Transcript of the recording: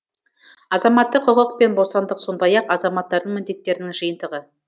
азаматтық құқық пен бостандық сондай ақ азаматтардың міндеттерінің жиынтығы